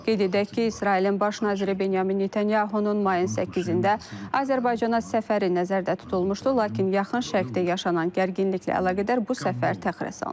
Qeyd edək ki, İsrailin baş naziri Benyamin Netanyahunun mayın 8-də Azərbaycana səfəri nəzərdə tutulmuşdu, lakin yaxın Şərqdə yaşanan gərginliklə əlaqədar bu səfər təxirə salınıb.